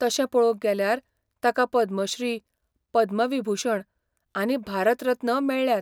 तशें पळोवंक गेल्यार, ताका पद्मश्री, पद्मविभुषण आनी भारत रत्न मेळ्ळ्यात.